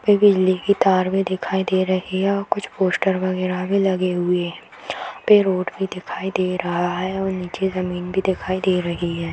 पे बिजली की तार भी दिखाई दे रही है और कुछ पोस्टर वगेरा भी लगे हुए है यहाँ पे रोड भी दिखाई दे रहा है और निचे जमीन भी दिखाई दे रही है |